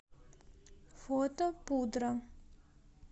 фото пудра